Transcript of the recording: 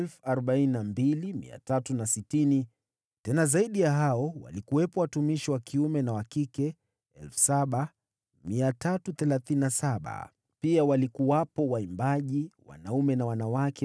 tena zaidi ya hao walikuwepo watumishi wa kiume na wa kike 7,337; pia walikuwamo waimbaji wanaume na wanawake 200.